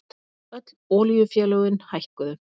Öll olíufélögin hækkuðu